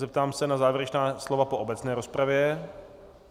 Zeptám se na závěrečná slova po obecné rozpravě.